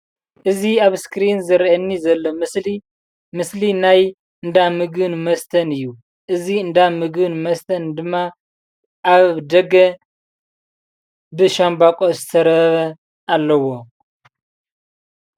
እዚ ኣብ እስክሪን ዝረኣየኒ ዘሎ ምስሊ ምስሊ ናይ እንዳ ምግቢን መስተን እዩ፡፡ እዚ እንዳ ምግብን መስተን ድማ ኣብ ደገ ብሻምባቆ ዝተረበበ ኣለዎ፡፡